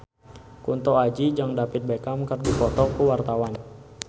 Kunto Aji jeung David Beckham keur dipoto ku wartawan